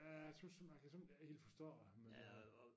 Ja jeg synes nu man kan simpelthen ikke helt forstå det men det